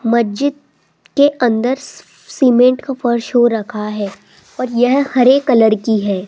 मस्जिद के अंदर सीमेंट का फर्श हो रखा है और यह हरे कलर की है।